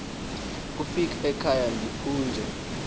kufika ekhaya ndiphunge